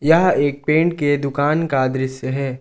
यह एक पेंट के दुकान का दृश्य है।